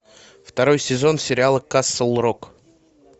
второй сезон сериала касл рок